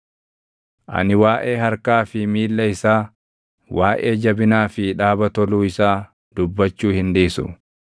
“Ani waaʼee harkaa fi miilla isaa, waaʼee jabinaa fi dhaaba toluu isaa dubbachuu hin dhiisu.